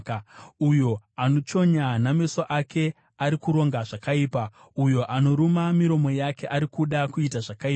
Uyo anochonya nameso ake ari kuronga zvakaipa; uyo anoruma miromo yake ari kuda kuita zvakaipa.